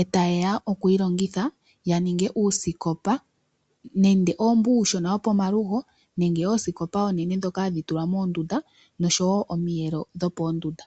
etaye ya okuyi longitha ya ninge uusikopa nenge owo mboka uushona wopomalugo nenge oosikopa oonene ndhoka hadhi tulwa moondunda noshowo omiyelo dhoopoondunda.